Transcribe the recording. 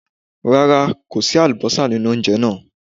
Rárá, kò sí àlùbọ́sà nínú ounjẹ náà.